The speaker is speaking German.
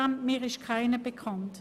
Mir ist keiner bekannt.